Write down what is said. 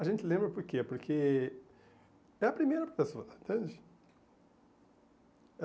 A gente lembra porque porque é a primeira pessoa, entende?